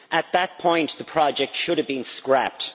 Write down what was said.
At that point the project should have been scrapped.